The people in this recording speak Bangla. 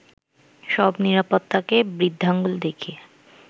সব নিরাপত্তাকে বৃদ্ধাঙ্গুল দেখিয়ে